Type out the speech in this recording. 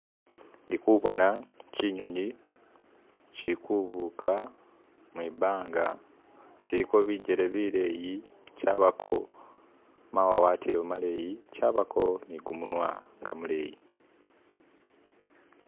Ndi kubona kinyonyi shikubuka mwibanga kiliko bijele bileyi chabako mawawatilo maleyi chabako ni kumunywa nga muleyi.